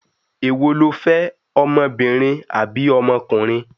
Èwo lo fẹ́, ọmọbìnrin àbí ọmọkùnrin?